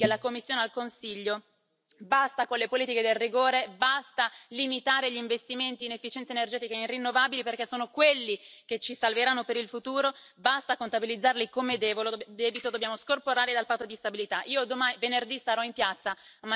Io faccio solo un appello chiedo ai colleghi, alla Commissione e al Consiglio di dire basta alle politiche del rigore, basta limitare gli investimenti in efficienza energetica e in rinnovabili, perché sono quelli che ci salveranno per il futuro, basta contabilizzarli come debito, dobbiamo scorporarli dal patto di stabilità.